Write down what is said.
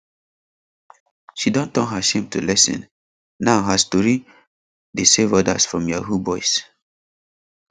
she don turn her shame to lesson now her story dey save others from yahoo boys